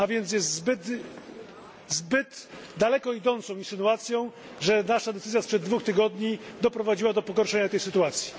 Jest więc zbyt daleko idącą insynuacją, że nasza decyzja sprzed dwóch tygodni doprowadziła do pogorszenia tej sytuacji.